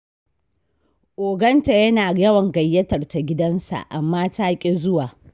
Oganta yana yawan gayyatar ta gidansa, amma ta ƙi zuwa.